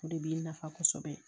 O de b'i nafa kosɛbɛ